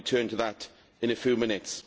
I will return to that in a few minutes.